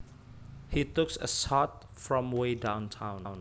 He took a shot from way downtown